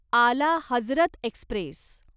आला हजरत एक्स्प्रेस